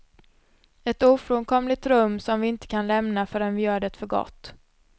Ett ofrånkomligt rum som vi inte kan lämna förrän vi gör det för gott.